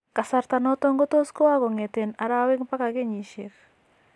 Kasarta noton kotot kowoo kongeten arawek mpaka kenyisiek